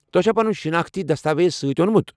توہہِ چھا پنُن شناختی دستاویز سۭتۍ اوٚنمُت ؟